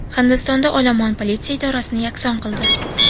Hindistonda olomon politsiya idorasini yakson qildi.